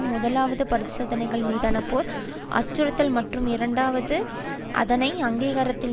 முதலாவது பரிசோதனைகள் மீதாக போர் அச்சுறுத்தல் மற்றும் இரண்டாவது அதனை அங்கீகரித்தல்